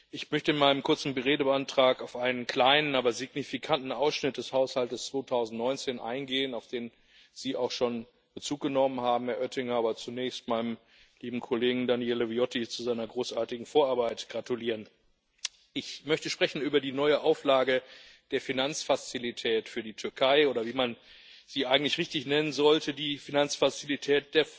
Ich möchte in meinem kurzen Redebeitrag auf einen kleinen, aber signifikanten Ausschnitt des Haushalts 2019 eingehen, auf den Sie auch schon Bezug genommen haben, Herr Oettinger, aber zunächst meinem lieben Kollegen Daniele Viotti zu seiner großartigen Vorarbeit gratulieren. Ich möchte sprechen über die neue Auflage der Finanzfazilität für die Türkei oder wie man sie eigentlich richtig nennen sollte, der Finanzfazilität